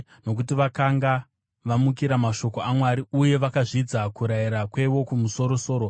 nokuti vakanga vamukira mashoko aMwari uye vakazvidza kurayira kweWokumusoro-soro.